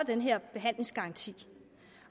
den her behandlingsgaranti